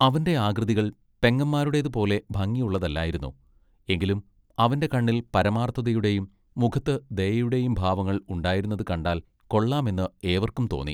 അവന്റെ ആകൃതികൾ പെങ്ങന്മാരുടേതുപോലെ ഭംഗിയുള്ളതല്ലായിരുന്നു എങ്കിലും അവന്റെ കണ്ണിൽ പരമാർത്ഥതയുടെയും മുഖത്ത് ദയയുടെയും ഭാവങ്ങൾ ഉണ്ടായിരുന്നത് കണ്ടാൽ കൊള്ളാമെന്ന് ഏവർക്കും തോന്നും.